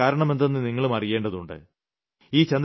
അതിനുള്ള കാരണം എന്തെന്ന് നിങ്ങളും അറിയേണ്ടതുണ്ട്